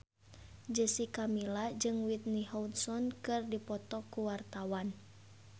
Jessica Milla jeung Whitney Houston keur dipoto ku wartawan